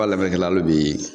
Hali bi